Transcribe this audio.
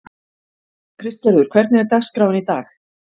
Kristgerður, hvernig er dagskráin í dag?